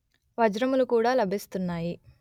వజ్రములు కూడా లభిస్తున్నాయి